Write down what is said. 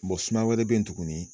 suma wɛrɛ bɛ yen tuguni.